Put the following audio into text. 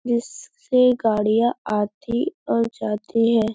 इससे गाड़ियां आती और जाती हैं।